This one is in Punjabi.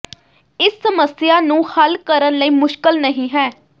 ਇਸ ਸਮੱਸਿਆ ਨੂੰ ਹੱਲ ਕਰਨ ਲਈ ਮੁਸ਼ਕਲ ਨਹੀ ਹੈ